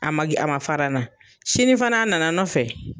A ma a ma fara n na sini fana a nana n nɔfɛ.